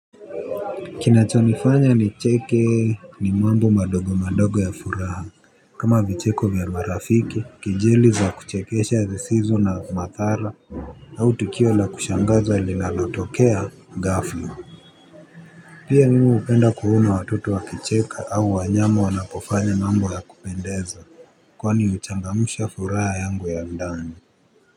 Kinachonifanya nicheke ni mambo madogo madogo ya furaha. Kama vicheko vya marafiki kejeli za kuchekesha zisizo na madhara au tukio la kushangaza linalotokea ghafla. Pia mimi hupenda kuona watoto wakicheka au wanyama wanapofanya mambo ya kupendeza. Kwani huchangamsha furaha yangu ya ndani.